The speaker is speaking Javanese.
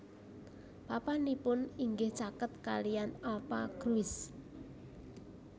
Papanipun inggih caket kaliyan alpha Gruis